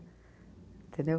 Entendeu?